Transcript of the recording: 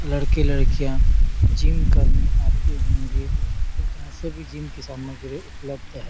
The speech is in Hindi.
लड़के लड़कियां जिम करने आते होंगे क्योंकि यहाँ सभी जिम की सामग्री उपलब्ध है।